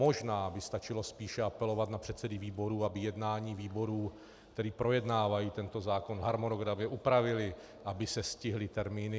Možná by stačilo spíše apelovat na předsedy výborů, aby jednání výborů, které projednávají tento zákon, harmonogramem upravili, aby se stihly termíny.